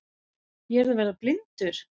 Ég er að verða blindur!